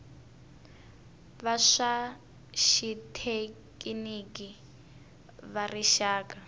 va swa xithekiniki va rixaka